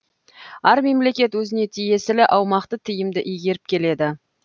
әр мемлекет өзіне тиесілі аумақты тиімді игеріп келеді